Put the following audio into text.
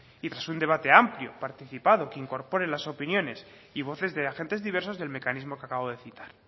y tras un debate amplio participado que incorpore las opiniones y voces de agentes diversos del mecanismo que acabo de citar